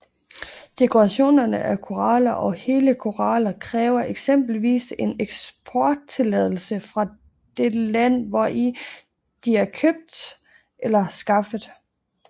Dekorationer af koraller og hele koraller kræver eksempelvis en eksporttilladelse fra det land hvori de er købt eller skaffet